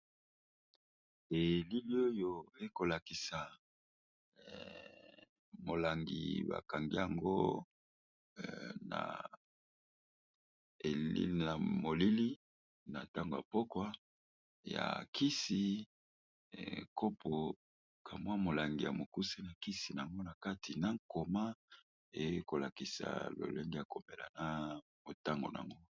Bilili oyo ezolakisa molangi oyo ezali bongo molangi ya kisi